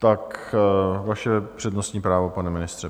Tak vaše přednostní právo, pane ministře.